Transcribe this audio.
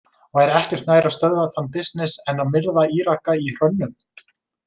Væri ekki nær að stöðva þann bisness en að myrða Íraka í hrönnum?